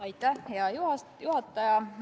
Aitäh, hea juhataja!